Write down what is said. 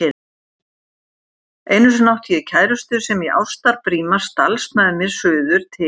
Einu sinni átti ég kærustu sem í ástarbríma stalst með mér suður til